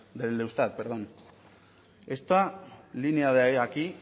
del eustat esta línea de aquí